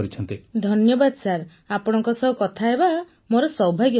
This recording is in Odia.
ପୁନମ ନୌଟିଆଲ ଧନ୍ୟବାଦ ସାର୍ ଆପଣଙ୍କ ସହ କଥାହେବା ମୋର ସୌଭାଗ୍ୟ